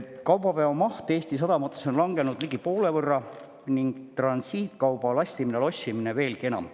Kaubaveo maht Eesti sadamates on langenud ligi poole võrra ning transiitkauba lastimine ja lossimine veelgi enam.